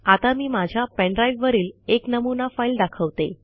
आता मी माझ्या पेन ड्राईव्हवरील एक नमुना फाईल दाखवते